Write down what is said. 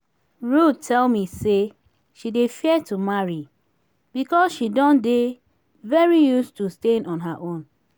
ruth tell me say she dey fear to marry because she don dey very used to staying on her own